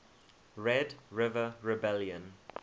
red river rebellion